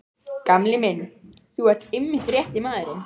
Gamli minn, þú ert einmitt rétti maðurinn.